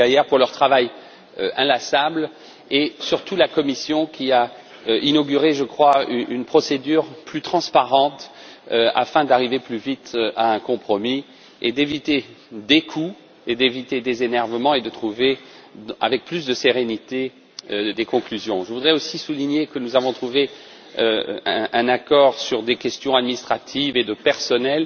Geier, pour leur travail inlassable, et surtout la Commission qui a inauguré, je crois, une procédure plus transparente afin d'arriver plus vite à un compromis et d'éviter des coûts et des motifs d'énervement pour arriver avec plus de sérénité à des conclusions. Je voudrais aussi souligner que nous avons trouvé un accord sur des questions administratives et de personnel